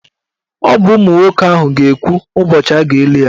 Ọ bụ ụmụ nwoke ahụ ga-ekwu ụbọchị a ga-eli ya.